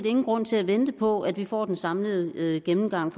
ingen grund til at vente på at vi får den samlede gennemgang